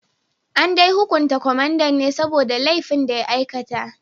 An dai hukunta kwamandan ne saboda laifin da ya aikata